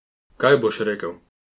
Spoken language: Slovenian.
Kaj boš rekel?